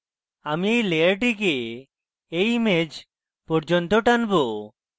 আমি এই লেয়ারটিকে এই image পর্যন্ত টানবো